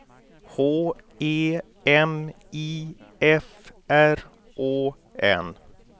H E M I F R Å N